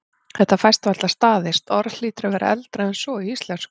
Þetta fæst varla staðist, orðið hlýtur að vera eldra en svo í íslensku.